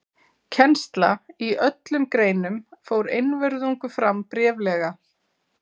Kennsla í öllum greinum fór einvörðungu fram bréflega.